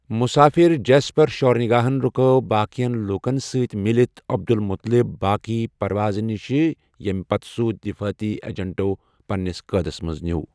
مُسافِر Jasper شورنِگاَہن رُکٲوۍ باقین لوکن سۭتۍ مِلتھ عبدالمطلب باقٕے پرواز نِش ییٚمہ پتہٕ سُہ دِفٲقی اجنٹو پنٛنِس قٲدس منٛز نیو۔